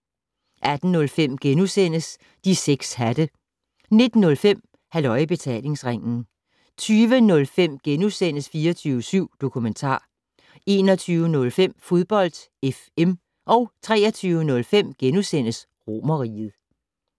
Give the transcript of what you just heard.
18:05: De 6 hatte * 19:05: Halløj I Betalingsringen 20:05: 24syv Dokumentar * 21:05: Fodbold FM 23:05: Romerriget *